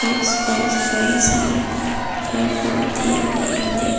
आस पास कई सारे पेड़ पौधे हैं।